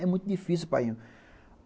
É muito difícil, painho.